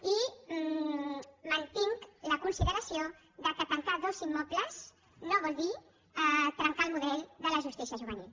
i mantinc la consideració que tancar dos immobles no vol dir trencar el model de la justícia juvenil